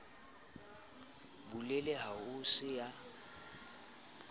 bulele ha ho se ya